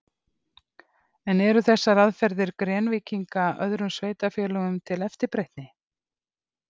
En eru þessar aðferðir Grenvíkinga öðrum sveitarfélögum til eftirbreytni?